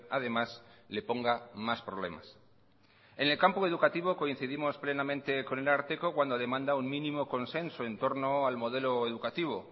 además le ponga más problemas en el campo educativo coincidimos plenamente con el ararteko cuando demanda un mínimo consenso en torno al modelo educativo